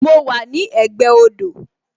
Mo wà ní ẹ̀gbẹ́ odò